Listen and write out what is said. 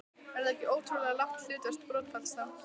Er það ekki ótrúlega lágt hlutfall brottfalls þá?